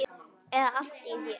eða allt að því.